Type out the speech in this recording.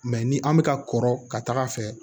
Mɛ ni an bɛ ka kɔrɔ ka taga fɛ